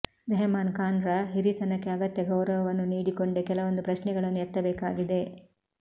ರೆಹಮಾನ್ ಖಾನ್ರ ಹಿರಿತನಕ್ಕೆ ಅಗತ್ಯ ಗೌರವವನ್ನು ನೀಡಿಕೊಂಡೇ ಕೆಲವೊಂದು ಪ್ರಶ್ನೆಗಳನ್ನು ಎತ್ತಬೇಕಾಗಿದೆ